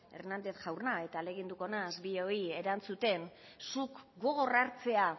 hernández jauna eta ahaleginduko naiz bioi erantzuten zuk gogor hartzea